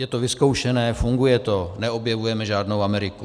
Je to vyzkoušené, funguje to, neobjevujeme žádnou Ameriku.